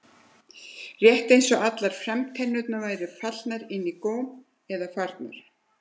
Rétt eins og allar framtennurnar væru fallnar inn í góm eða farnar.